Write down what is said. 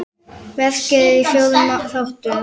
Verkið er í fjórum þáttum.